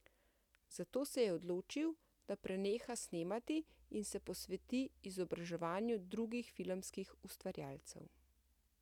Zato se je odločil, da preneha snemati in se posveti izobraževanju drugih filmskih ustvarjalcev.